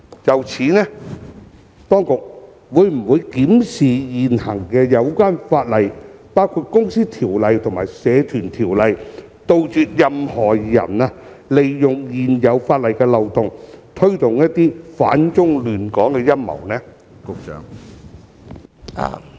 就此，當局會否檢視現行相關法例，包括《公司條例》及《社團條例》，杜絕任何人利用現有法例漏洞，推動一些反中亂港的陰謀？